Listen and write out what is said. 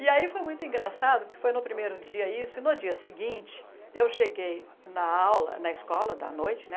E aí foi muito engraçado que foi no primeiro dia isso e no dia seguinte eu cheguei na aula, na escola da noite, né?